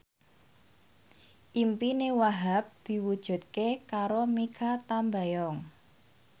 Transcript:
impine Wahhab diwujudke karo Mikha Tambayong